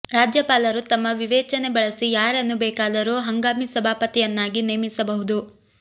ರಾಜ್ಯಪಾಲರು ತಮ್ಮ ವಿವೇಚನೆ ಬಳಸಿ ಯಾರನ್ನು ಬೇಕಾದರೂ ಹಂಗಾಮಿ ಸಭಾಪತಿಯನ್ನಾಗಿ ನೇಮಿಸಬಹುದು